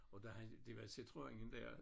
Og der har det var Citroënen der